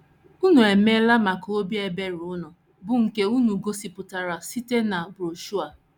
Unu emeela maka obi ebere unu, bụ́ nke unu gosipụtara site na broshuọ a. ”